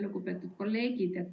Lugupeetud kolleegid!